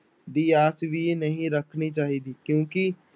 ਦੀ ਆਸ ਵੀ ਨਹੀਂ ਰੱਖਣੀ ਚਾਹੀਦੀ ਕਿਉਂਕਿ